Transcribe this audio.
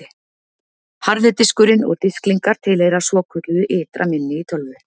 Harði diskurinn og disklingar tilheyra svokölluðu ytra minni í tölvu.